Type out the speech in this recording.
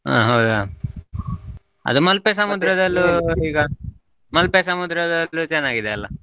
ಹಾ ಹೌದಾ, ಅದೇ ಮಲ್ಪೆ ಮಲ್ಪೆ ಸಮುದ್ರದಲ್ಲು ಚನ್ನಾಗಿದೆ ಅಲ್ಲಾ.